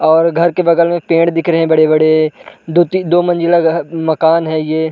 और घर के बगल में पेड़ दिख रहे हैं बड़े-बड़े। दो ती दो मंज़िला घ माकन है ये --